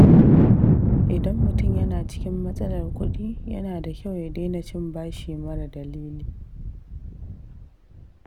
Idan mutum yana cikin matsalar kuɗi, yana da kyau ya daina cin bashi mara dalili.